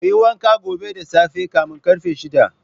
Kuyi wanka gobe da tsafe kamin karfe shida.